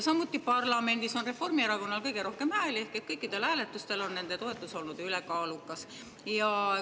Samuti on parlamendis Reformierakonnal kõige rohkem hääli ehk kõikidel hääletustel on nende olnud ülekaalukad.